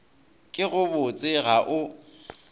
ke go botše ga o